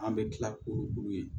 An bɛ tila k'olu ye